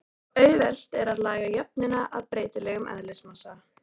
Auðvelt er að laga jöfnuna að breytilegum eðlismassa.